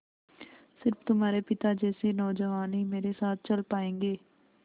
स़िर्फ तुम्हारे पिता जैसे नौजवान ही मेरे साथ चल पायेंगे